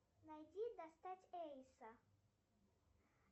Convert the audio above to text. найди достать эйса